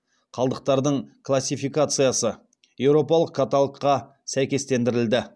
қалдықтардың классификациясы еуропалық каталогқа сәйкестендірілді